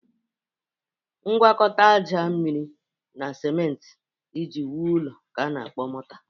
Ngwọkọta aja, mmiri, na simentị iji wu ụlọ ka a na-akpọ mọta.